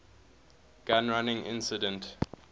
gun running incident